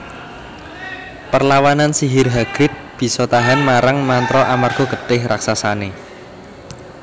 Perlawanan Sihir Hagrid bissa tahan marang mantra amarga getih raksasane